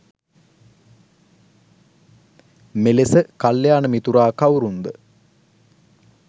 මෙලෙස කල්‍යාණ මිතුරා කවුරුන්ද